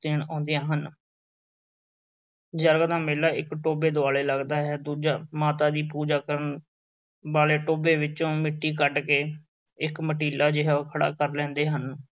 ਦੇਣ ਆਉਂਦੇ ਹਨ। ਜਰਗ ਦਾ ਮੇਲਾ ਇੱਕ ਟੋਭੇ ਦੁਆਲੇ ਲੱਗਦਾ ਹੈ। ਦੂਜਾ ਮਾਤਾ ਦੀ ਪੂਜਾ ਕਰਨ ਵਾਲੇ ਟੋਭੇ ਵਿੱਚੋਂ ਮਿੱਟੀ ਕੱਢ ਕੇ ਇੱਕ ਮਟੀਲਾ ਜਿਹਾ ਕਰ ਲੈਂਦੇ ਹਨ।